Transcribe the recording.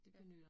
Ja